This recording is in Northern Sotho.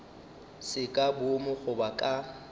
se ka boomo goba ka